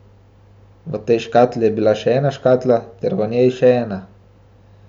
V tej škatli je bila še ena škatla ter v njej še ena.